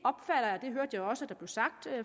hørte jeg også blev sagt